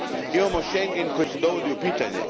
Imamo Schengen koji se dovodi u pitanje.